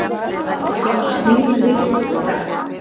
Okkur hlotnast nýr ritstjóri í dag.